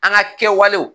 An ka kɛwalew